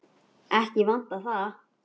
Ekki vantar það.